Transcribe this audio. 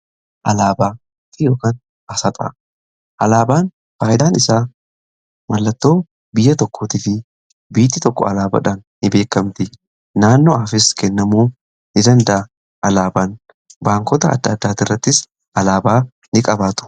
Alaabaa fi asxaa, alaabaan faay'idaan isaa mallattoo biyya tokko tif biyyi tokko alaabaadhaan ni beekamti naanno'aafis kennamoo ni danda'a. Alaabaan baankota adda addaati irrattis alaabaa ni qabaatu.